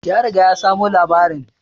Ya riga ya samo labarin